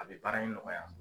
A bɛ baara in nɔgɔya.